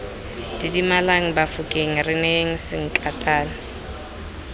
didimalang bafokeng re neyeng sankatane